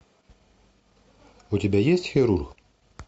у тебя есть хирург